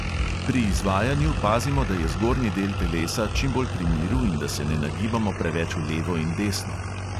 Pri izvajanju pazimo, da je zgornji del telesa čim bolj pri miru in da se ne nagibamo preveč v levo in desno.